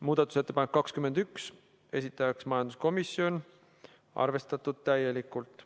Muudatusettepanek nr 21, esitajaks majanduskomisjon, arvestatud täielikult.